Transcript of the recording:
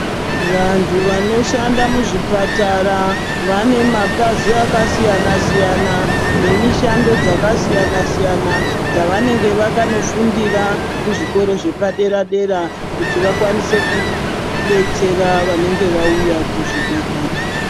Vantu vanoshanda muzvipatara vane mapazi akasiyana siyana nemishando dzakasiyana siyana dzavanenge vakanofundir kuzvikora zvepadera dera kuti vakwanise kudetsera vanenge vauya kuzvibhedhlera.